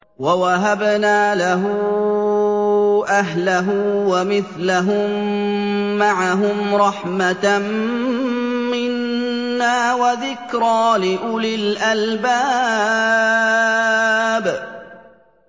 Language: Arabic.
وَوَهَبْنَا لَهُ أَهْلَهُ وَمِثْلَهُم مَّعَهُمْ رَحْمَةً مِّنَّا وَذِكْرَىٰ لِأُولِي الْأَلْبَابِ